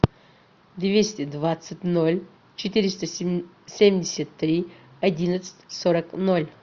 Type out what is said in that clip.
двести двадцать ноль четыреста семьдесят три одиннадцать сорок ноль